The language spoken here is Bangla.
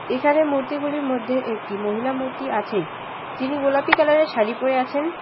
এখানে মূর্তিগুলির মধ্যে একটি মহিলা মূর্তি আছেই যিনি গোলাপি কালারের শাড়ি পরে আছেন।